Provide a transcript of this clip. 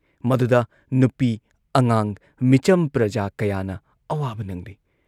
ꯃꯗꯨꯗ ꯅꯨꯄꯤ ꯑꯉꯥꯡ ꯃꯤꯆꯝ ꯄ꯭ꯔꯖꯥ ꯀꯌꯥꯅ ꯑꯋꯥꯕ ꯅꯪꯂꯤ ꯫